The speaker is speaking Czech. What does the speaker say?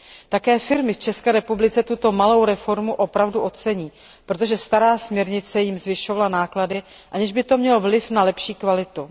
Také firmy v České republice tuto malou reformu opravdu ocení, protože stará směrnice jim zvyšovala náklady, aniž by to mělo vliv na lepší kvalitu.